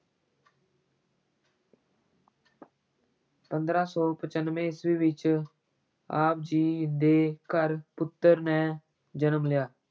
ਪੰਦਰਾਂ ਸੌ ਪਚਾਨਵੇਂ ਈਸਵੀ ਵਿੱਚ ਆਪ ਜੀ ਦੇ ਘਰ ਪੁੱਤਰ ਨੇ ਜਨਮ ਲਿਆ।